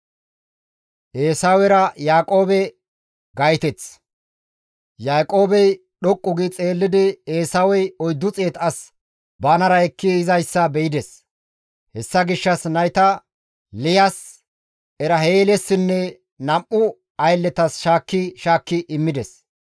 Yaaqoobey dhoqqu gi xeellidi Eesawey 400 as banara ekki yizayssa be7ides; hessa gishshas nayta Liyas, Eraheelissinne nam7u aylletas shaakki shaakki immides.